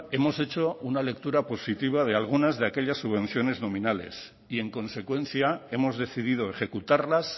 hemos hecho una lectura positiva de algunas de aquellas subvenciones nominales y en consecuencia hemos decidido ejecutarlas